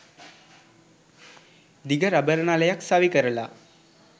දිග රබර් නලයක් සවි කරලා